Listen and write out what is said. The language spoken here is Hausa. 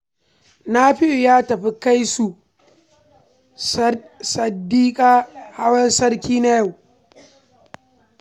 Nafi'u ya tafi kai su Sadiƙa hawan sarki na yau